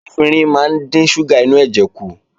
Efinrin máa ń dín ṣúgà inú ẹ̀jẹ̀ kù